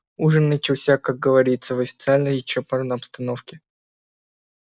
ужин начался как говорится в официальной и чопорной обстановке